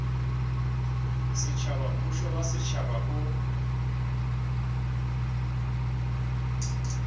setšhaba mmušo wa setšhaba o